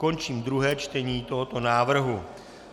Končím druhé čtení tohoto návrhu.